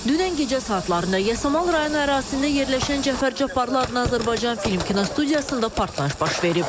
Dünən gecə saatlarında Yasamal rayonu ərazisində yerləşən Cəfər Cabbarlı adına Azərbaycan Film kinostudiyasında partlayış baş verib.